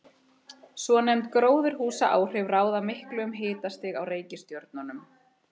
Svonefnd gróðurhúsaáhrif ráða miklu um hitastig á reikistjörnunum.